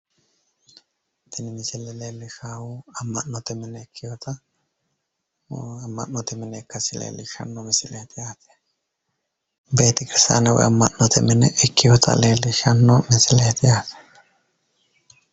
Tini misile leellishaahu amma'note mine ikkewoota, amma'note mine ikkasi leellishshanno misileeti yaate. beetekirstaane woyi amma'note mine ikkewoota xawissanno misileeti.